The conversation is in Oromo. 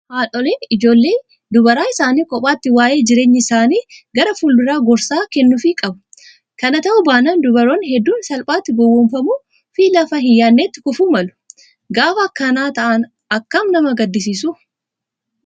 Haadholiin ijoollee dubaraa isaanii kophaatti waayee jireenya isaanii gara fuulduraa gorsa kennuufii qabu. Kana ta'uu baannaan dubaroonni hedduun salphaatti gowwoomfamuu fi lafa hin yaadnetti kufuu malu. Gaafa akkana ta'an akkam nama gaddisiisu